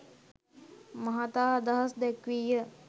මහතා අදහස් දැක්වීය